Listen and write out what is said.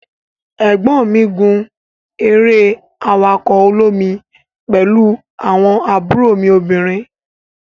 egbon mi gun ere awako olomi pelu awon mi obinrin.